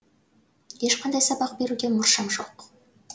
ешқандай сабақ беруге мұршам жоқ